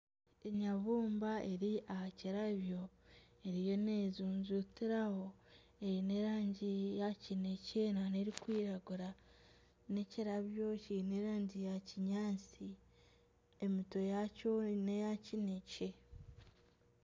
Enyabumba eri aha kirabyo eriyo nejujutiraho. Eine erangi ya kinekye nana erikwiragura. N'ekirabyo kiine erangi ya kinyaatsi emitwe yakyo neya kinekye.